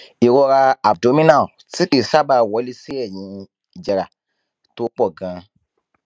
ìrora abdominal tí kì í sábà wọlé sí ẹyìn ìjẹra tó pọ ganan